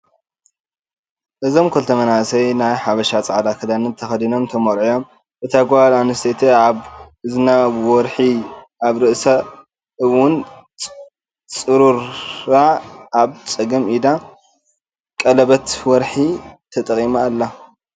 እዞም ክልተ መናእሰይ ናይ ሓበሻ ፃዕዳ ክዳን ተከዲኖም ተመሪዕዮም። እታ ጓል ኣነስተይቲ ኣብ እዝና ወርሒ ኣብ ርእሳ እውን ፅሩራ ኣብ ፀገም ኢዳ ቀሌበት ወርሒ ተጠቂማ ኣላ።